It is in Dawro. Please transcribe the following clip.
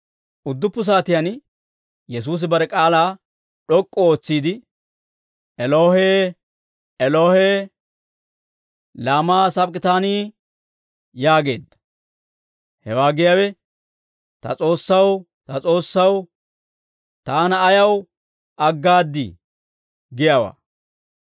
Udduppu saatiyaan Yesuusi bare k'aalaa d'ok'k'u ootsiide, «Elohee, Elohee, laamaa sabak'itaanii?» yaageedda. Hewaa giyaawe, «Ta S'oossaw, ta S'oossaw, taana ayaw aggaaddii?» giyaawaa.